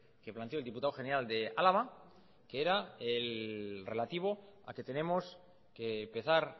que planteó el diputado general de álava que era el relativo a que tenemos que empezar